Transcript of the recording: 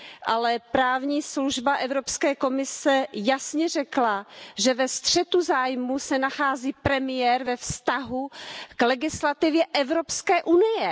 Ale právní služba Evropské komise jasně řekla, že ve střetu zájmů se nachází premiér ve vztahu k legislativě Evropské unie.